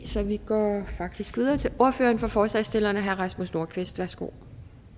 så vi går faktisk videre til ordføreren for forslagsstillerne herre rasmus nordqvist værsgo